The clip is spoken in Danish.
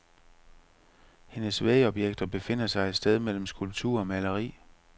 Hendes vægobjekter befinder sig et sted mellem skulptur og maleri.